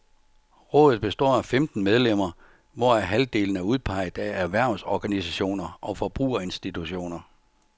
Rådet består af femten medlemmer, hvoraf halvdelen er udpeget af erhvervsorganisationer og forbrugerinstitutioner.